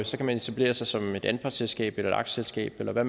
så kan man etablere sig som et anpartsselskab eller et aktieselskab eller